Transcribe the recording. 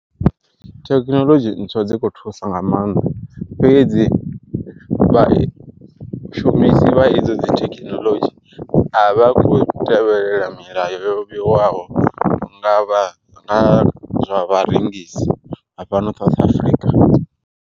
Thekinoḽodzhi ntswa dzi kho thusa nga maanḓa, fhedzi vha shumisi vha idzo dzi thekinoḽodzhi a vha kho tevhelela milayo yo vheiwaho nga vha nga zwa vharengisi vha fhano South Africa.